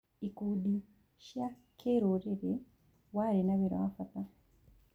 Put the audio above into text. Ikundi cia kĩrũrĩrĩ warĩ na wĩra wa bata.